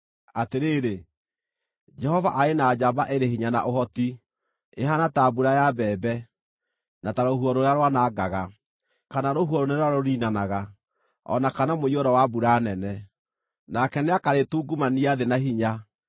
Atĩrĩrĩ, Jehova arĩ na njamba ĩrĩ hinya na ũhoti. Ĩhaana ta mbura ya mbembe, na ta rũhuho rũrĩa rwanangaga, kana rũhuho rũnene rũrĩa rũniinanaga, o na kana mũiyũro wa mbura nene, nake nĩakarĩtungumania thĩ na hinya.